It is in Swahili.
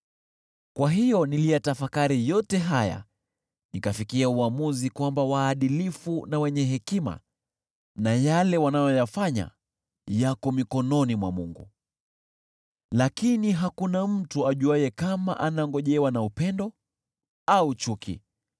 Kwa hiyo niliyatafakari yote haya nikafikia uamuzi kwamba waadilifu na wenye hekima na yale wanayoyafanya yako mikononi mwa Mungu, lakini hakuna mtu ajuaye kama anangojewa na upendo au chuki.